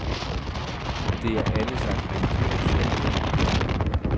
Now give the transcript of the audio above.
Det er alle slags mennesker, der søger ind i det arbejde.